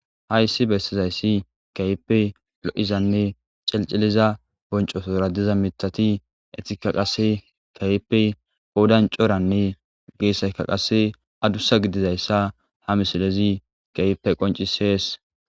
Hayssi bestizayssi kayipe lo7izanne celciliza boncosora diza mitati etika qase kayipe poodancoranne geessayka qasse adussa gidizayssa ha misilezi kayippe qoncisees.